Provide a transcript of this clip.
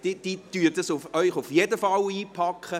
Sie packen Ihnen dies auf jeden Fall ein.